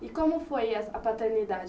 E como foi es a paternidade?